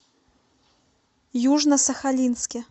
южно сахалинске